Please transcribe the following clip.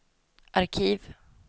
arkiv